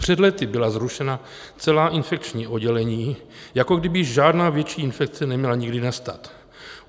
Před lety byla zrušena celá infekční oddělení, jako kdyby žádná větší infekce neměla nikdy nastat.